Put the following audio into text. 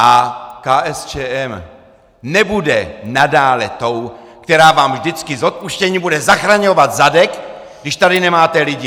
A KSČM nebude nadále tou, která vám vždycky s odpuštěním bude zachraňovat zadek, když tady nemáte lidi!